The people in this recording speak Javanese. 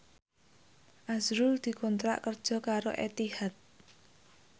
azrul dikontrak kerja karo Etihad